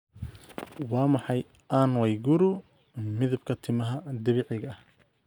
waa maxay ann waiguru midabka timaha dabiiciga ah